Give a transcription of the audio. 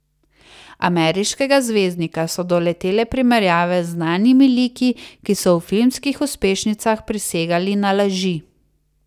Ameriškega zvezdnika so doletele primerjave z znanimi liki, ki so v filmskih uspešnicah prisegali na laži.